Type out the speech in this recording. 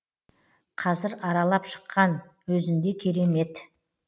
қазір аралап шыққан өзінде керемет